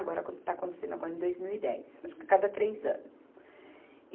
Agora acon, está acontecendo agora em dois mil e dez, acho que a cada três anos.